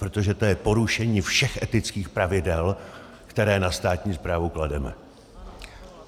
Protože to je porušení všech etických pravidel, která na státní správu klademe.